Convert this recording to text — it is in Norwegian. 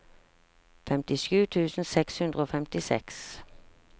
femtisju tusen seks hundre og femtiseks